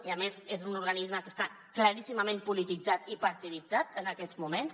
i a més és un organisme que està claríssimament polititzat i partiditzat en aquests moments